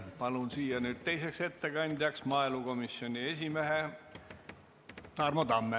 Palun siia nüüd ettekandjaks maaelukomisjoni esimehe Tarmo Tamme.